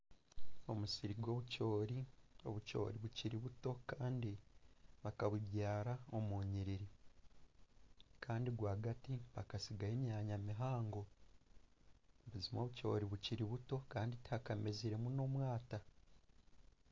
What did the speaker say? Omusiri gw'obucoori, obucoori bukiri buto Kandi bakabubyara omunyiriri Kandi rwagati bakasigayo emyanya mihango obucoori bukiri buto kandi tihakameziremu n'omwata